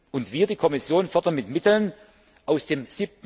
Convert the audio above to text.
Und wir, die Kommission, fördern mit Mitteln aus dem